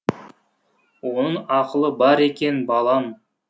оның ақылы бар екен балам